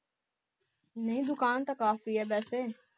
ਨਹੀ ਦੁਕਾਨ ਤਾਂ ਕਾਫੀ ਐ ਵੈਸੇ